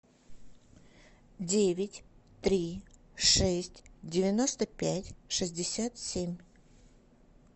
девять три шесть девяносто пять шестьдесят семь